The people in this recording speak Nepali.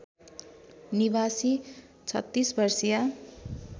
निवासी ३६ वर्षीया